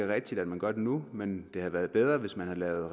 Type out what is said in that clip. rigtigt at man gør det nu men det havde været bedre hvis man havde lavet